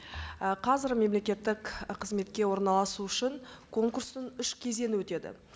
і қазір мемлекеттік қызметке орналасу үшін конкурстың үш кезеңі өтеді